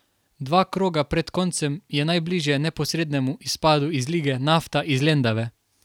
Dva kroga pred koncem je najbliže neposrednemu izpadu iz lige Nafta iz Lendave.